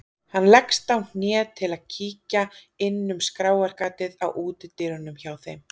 Hann leggst á hné til að kíkja inn um skráargatið á útidyrunum hjá þeim.